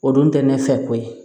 O dun tɛ ne fɛ ko ye